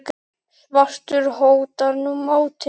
svartur hótar nú máti.